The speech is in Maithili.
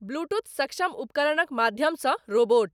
ब्लूटूथ सक्षम उपकरणक माध्यम सं रोबोट।